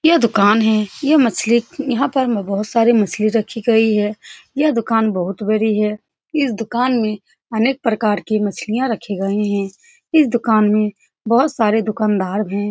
यह दुकान है यह मछली बहुत सारी मछली रखी गई हैं यह दुकान बहुत बड़ी है इस दुकान में अनेक प्रकार की मछलियाँ रखी गई हैं इस दुकान में बहुत सारे दुकानदार हैं ।